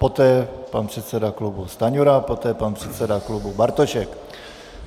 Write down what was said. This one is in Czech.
Poté pan předseda klubu Stanjura, poté pan předseda klubu Bartošek.